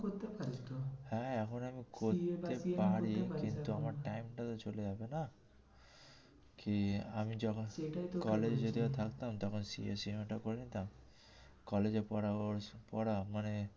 করতে পারিস তো। হ্যাঁ এখন আমি করতে পারি কিন্তু আমার time টা তো চলে যাবে না। কি আমি যখন এটাই তোকে তখন করে নিতাম college এ পড়া পড়া মানে